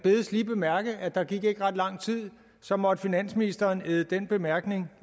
bedes lige bemærke at der ikke gik ret lang tid så måtte finansministeren æde den bemærkning